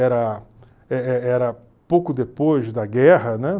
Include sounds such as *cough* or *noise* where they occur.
Era *unintelligible* era pouco depois da guerra, né?